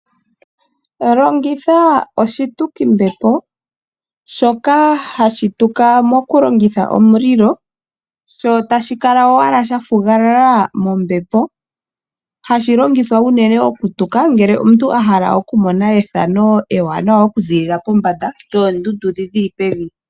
Longitha oshitukimbepo shoka hashi tuka moku longitha omulilo. Sho tashi kala wala sha fugalala mombepo. Hashi longithwa unene ngele omuntu a hala oku mona ethano ewanawa okuzilila pombanda yoondundu dhi dhili pombanda mombepo oondundu dhili pevi.